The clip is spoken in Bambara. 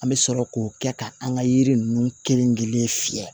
An bɛ sɔrɔ k'o kɛ ka an ka yiri ninnu kelen-kelen fiyɛ